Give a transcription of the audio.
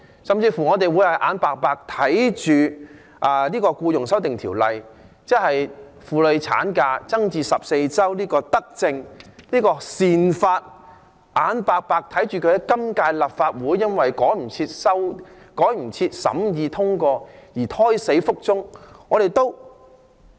我們是否眼白白看着《條例草案》將婦女產假增加至14周的德政、這項善法在今屆立法會因為趕不上審議和通過而胎死腹中？